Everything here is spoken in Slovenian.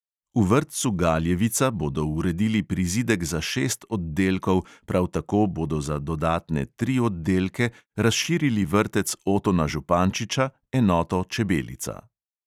V vrtcu galjevica bodo uredili prizidek za šest oddelkov, prav tako bodo za dodatne tri oddelke razširili vrtec otona župančiča, enoto čebelica.